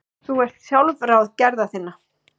Þú ert sjálfráð gerða þinna.